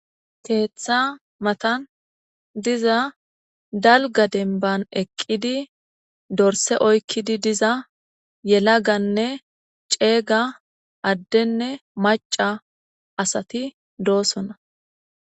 keeththa matan diza dalga denban eqqidi dorse oykkidi diza yelaganne ceega addenne maca asati doosona